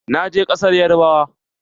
Na je ƙasar yarbawa.